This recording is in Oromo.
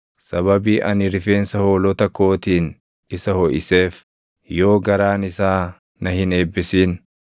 sababii ani rifeensa hoolota kootiin isa hoʼiseef, yoo garaan isaa na hin eebbisin,